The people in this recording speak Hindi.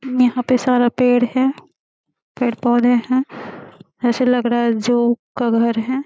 यहाँ पे सारा पेड़ हैं पेड़ पौधे हैं ऐसे लग रहा हैं जू का घर हैं।